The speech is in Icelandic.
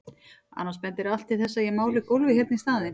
Annars bendir allt til þess að ég máli gólfið hérna í staðinn.